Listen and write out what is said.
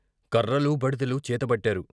కర్రలూ బడితెలూ చేతబట్టారు.